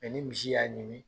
Mɛ ni misi y'a ɲimi